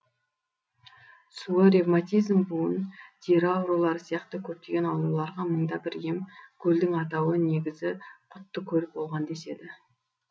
суы ревматизм буын тері аурулары сияқты көптеген ауруларға мың да бір ем көлдің атауы негізі құтты көл болған деседі